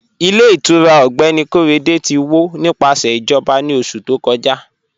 Ilẹ̀ ìtura Mr Korede ti wọ́ nípasẹ̀ ijọba ni oṣù tó kọ́jà